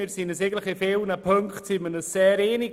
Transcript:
Wir sind uns eigentlich in vielen Punkten sehr einig.